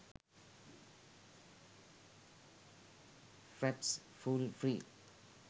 fraps full free